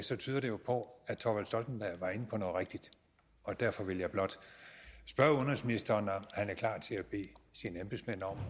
det tyder det jo på at thorvald stoltenberg var inde på noget rigtigt derfor vil jeg blot spørge udenrigsministeren om han er klar til at bede sine embedsmænd om